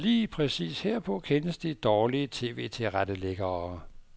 Lige præcis herpå kendes de dårlige TVtilrettelæggere.